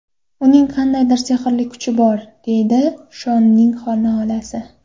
Uning qandaydir sehrli kuchi bor”, deydi Shonning xolasi.